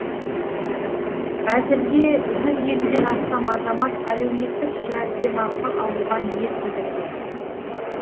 әзірге жүз елуден астам азамат әлеуметтік жәрдемақы алуға ниет білдірген